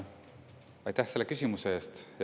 Aitäh selle küsimuse eest!